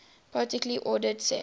partially ordered set